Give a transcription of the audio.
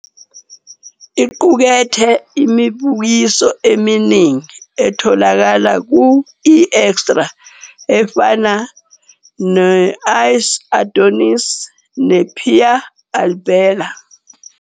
Iqukethe imibukiso eminingi etholakala ku-eExtra efana ne- Ice Adonis ne- Piyaa Albela